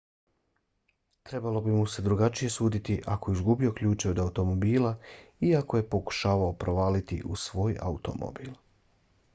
trebalo bi mu se drugačije suditi ako je izgubio ključeve od automobila i ako je pokušavao provaliti u svoj automobil